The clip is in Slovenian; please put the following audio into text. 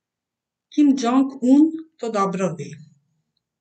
Kim Džong Un to dobro ve.